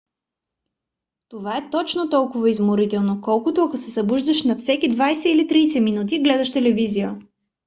това е точно толкова изморително колкото ако се събуждаш на всеки 20 или 30 минути и гледаш телевизия